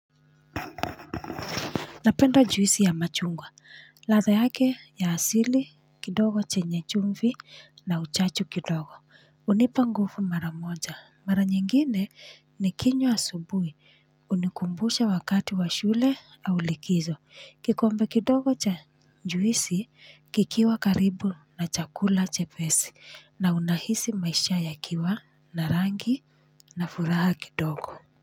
Napenda juisi ya machungwa. Ladha yake ya asili, kidogo chenye chumvi na uchachu kidogo. Hunipa nguvu mara moja. Mara nyingine nikinywa asubuhi. Hunikumbusha wakati wa shule au likizo. Kikombe kidogo cha juisi, kikiwa karibu na chakula chepesi na unahisi maisha yakiwa, na rangi na furaha kidogo.